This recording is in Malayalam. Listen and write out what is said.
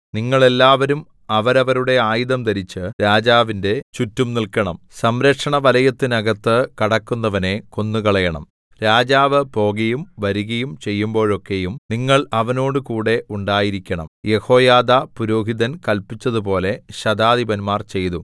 നിങ്ങൾ എല്ലാവരും അവരവരുടെ ആയുധം ധരിച്ച് രാജാവിന്റെ ചുറ്റും നില്‍ക്കണം സംരക്ഷണവലയത്തിനകത്ത് കടക്കുന്നവനെ കൊന്നുകളയണം രാജാവ് പോകയും വരികയും ചെയ്യുമ്പോഴൊക്കെയും നിങ്ങൾ അവനോടുകൂടെ ഉണ്ടായിരിക്കേണം യെഹോയാദാ പുരോഹിതൻ കല്പിച്ചതുപോലെ ശതാധിപന്മാർ ചെയ്തു